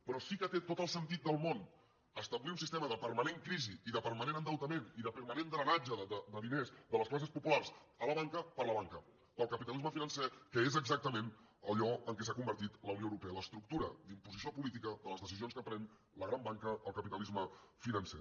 però sí que té tot el sentit del món establir un sistema de permanent crisi i de permanent endeutament i de permanent drenatge de diners de les classes populars a la banca per a la banca per al capitalisme financer que és exactament allò en què s’ha convertit la unió europea l’estructura d’imposició política de les decisions que pren la gran banca el capitalisme financer